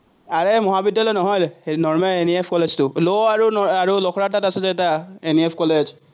আৰে মহাবিদ্যালয় নহয়, normal NEF কলেজটো law আৰু লখৰাৰ তাত আছিলে এটা NEF কলেজ।